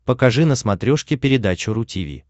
покажи на смотрешке передачу ру ти ви